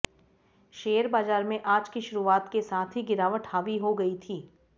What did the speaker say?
share बाजार में आज की शुरुआत के साथ ही गिरावट हावी हो गई थी